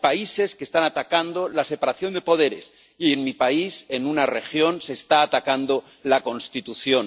Hay países que están atacando la separación de poderes y, en mi país, en una región, se está atacando la Constitución.